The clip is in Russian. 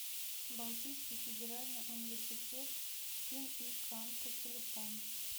балтийский федеральный университет им и канта телефон